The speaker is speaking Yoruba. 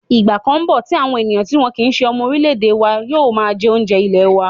Ìgbà kan ńbọ̀ tí àwọn ènìyàn tí wọn kìí se ọmọ orílẹ̀-èdè wa yóò máa jẹ́ oúnjẹ ilẹ̀ wa